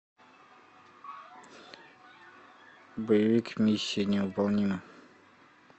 боевик миссия невыполнима